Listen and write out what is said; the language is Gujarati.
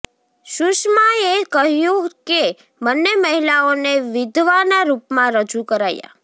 સુષમાએ કહ્યું કે બંને મહિલાઓને વિધવાના રૂપમાં રજૂ કરાયા